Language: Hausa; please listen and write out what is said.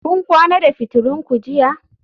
Kun kwana da fitulun ku jiya?